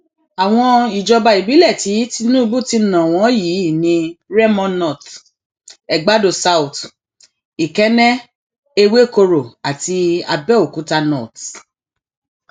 àwọn ìjọba ìbílẹ tí tinubu ti ná wọn yìí ni remo north egbàdo south ikenne ewekoro àti abéokúta north